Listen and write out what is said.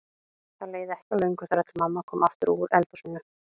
Það leið ekki á löngu þar til mamma kom aftur úr eldhúsinu.